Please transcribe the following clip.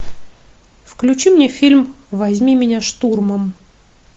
включи мне фильм возьми меня штурмом